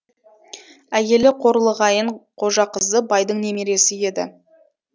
әйелі қорлығайын қожақызы байдың немересі еді